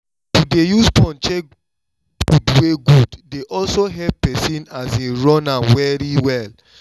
i no dey free but i still dey make time to eat good food